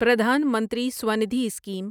پردھان منتری سوندھی اسکیم